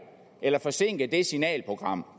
eller forsinke det signalprogram